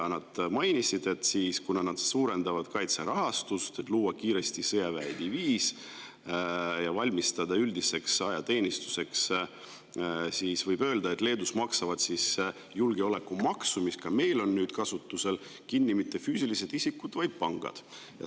Nad mainisid, et kuna nad suurendavad kaitserahastust, et luua kiiresti sõjaväediviis ja valmistuda üldiseks ajateenistuseks, siis võib öelda, et julgeolekumaksu, mis on ka meil nüüd kasutusel, maksavad Leedus kinni mitte füüsilised isikud, vaid pangad.